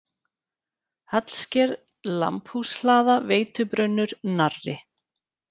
Hallsker, Lambhúshlaða, Veitubrunnur, Narri